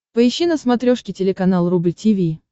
поищи на смотрешке телеканал рубль ти ви